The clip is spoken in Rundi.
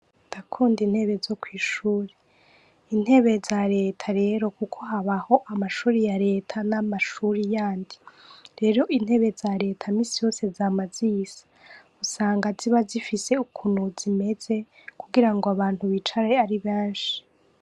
Ndakunda intebe zo kw'ishure. Intebe za leta rero kuko habaho amashuri ya leta n'amashuri yandi. Rero intebe za leta iminsi yose, zama zisa. Usanga ziba zifise ukuntu zimeze, kugira ngo abantu bicare ari benshi.